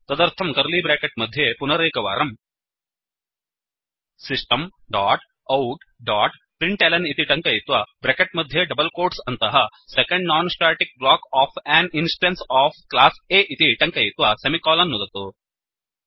तदर्थं curly bracket मध्ये पुनरेकवारम् system dot out dot println इति टङ्कयित्वा ब्रेकेट् मध्ये डबल् कोट्स् अन्तः second non static block of an instance of class A इति टङ्कयित्वा सेमिकोलन् नुदतु